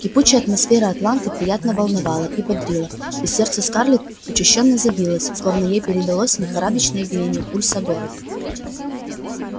кипучая атмосфера атланты приятно волновала и бодрила и сердце скарлетт учащённо забилось словно ей передалось лихорадочное биение пульса города